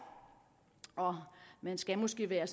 og man skal måske være